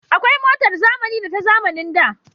Akwai motar zamani da ta zamanin da